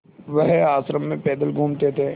वह आश्रम में पैदल घूमते थे